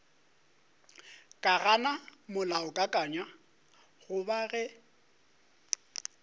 ka gana molaokakanywa goba ge